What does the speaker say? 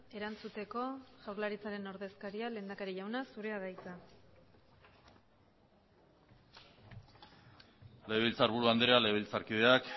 erantzuteko jaurlaritzaren ordezkaria lehendakari jauna zurea da hitza legebiltzarburu andrea legebiltzarkideak